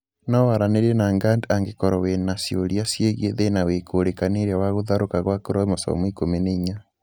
No waranĩrie na GARD angĩkorwo wĩna ciũria ciĩgiĩ thĩna wĩkũrĩkanĩire wa gũtharũka gwa chromosome 14